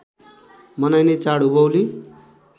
मनाइने चाड उभौली